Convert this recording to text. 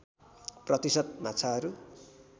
प्रतिशत माछाहरू